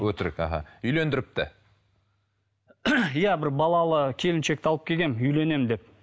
өтірік іхі үйлендіріпті иә бір балалы келіншекті алып келгенмін үйленемін деп